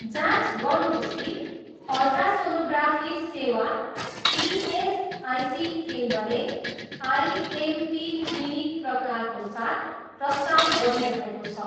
जाँच गर्नुहोस् कि अल्ट्रासोनोग्राफी सेवा इएसआइसी केन्द्रले आइएमपी क्लिनिक प्रकारको साथ प्रस्ताव गरिरहेको छ।